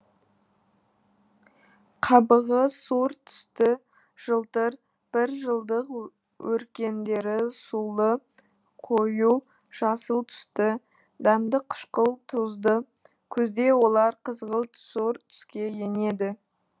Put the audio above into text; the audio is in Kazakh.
қабығы сұр түсті жылтыр бір жылдық өркендері сулы қою жасыл түсті дәмді қышқыл тұзды күзде олар қызғылт сұрт түске енеді